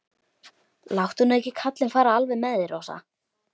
Láttu nú ekki kallinn fara alveg með þig, Rósa.